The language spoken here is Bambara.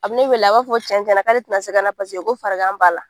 A bi ne wele ,a b'a fɔ cɛn cɛn na k'ale te na se ka na paseke ko farigan b'a la.